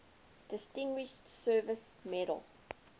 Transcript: distinguished service medal